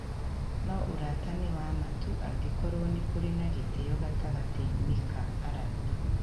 No ũrata nĩ wa ma tu angĩkorũo nĩ kũrĩ na gĩtĩo gatagatĩ-inĩ ka arata.